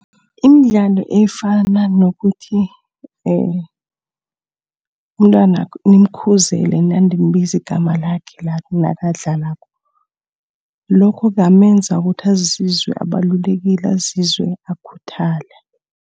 Imidlalo efana nokuthi umntwana nimkhuzele, ninande nibiza igama lakhe nakadlalako. Lokhu kungamenza ukuthi azizwe abalulekile, azizwe akhuthele.